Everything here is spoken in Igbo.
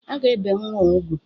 A ga-ebe nnwa ugwu.